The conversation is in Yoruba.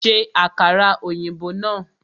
Ṣe àkàrà ọ̀yìnbó náà!